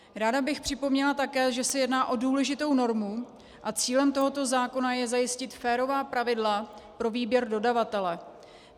Ráda bych připomněla také, že se jedná o důležitou normu a cílem tohoto zákona je zajistit férová pravidla pro výběr dodavatele.